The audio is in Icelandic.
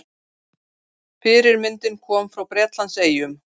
Fyrirmyndin kom frá Bretlandseyjum.